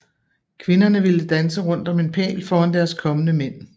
Kvinderne ville danse rundt om en pæl foran deres kommende mænd